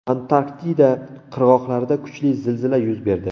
Antarktida qirg‘oqlarida kuchli zilzila yuz berdi.